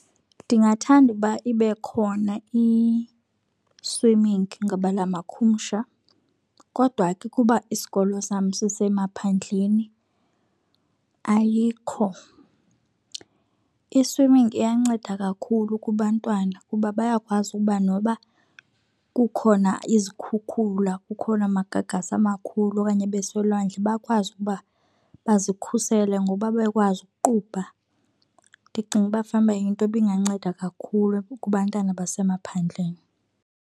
Ndingathanda ukuba ibe khona i-swimming ngabelamakhumsha kodwa ke ukuba isikolo sam sisemaphandleni ayikho. I-swimming iyanceda kakhulu kubantwana kuba bayakwazi ukuba noba kukhona izikhukhula, kukhona amagagasi amakhulu okanye beselwandle bakwazi ukuba bazikhusele ngokuba bekwazi ukuqubha. Ndicinga uba fanuba yinto ebinganceda kakhulu kubantwana basemaphandleni